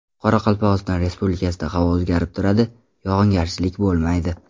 Qoraqalpog‘iston Respublikasida havo o‘zgarib turadi, yog‘ingarchilik bo‘lmaydi.